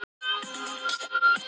Kannski fann Mark þetta á sér.